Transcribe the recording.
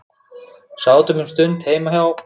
Sátum um stund heima hjá